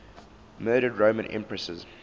murdered roman empresses